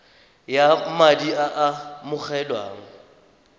ya madi a a amogelwang